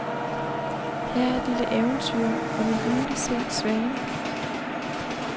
Her er et lille eventyr om en ugleset svane.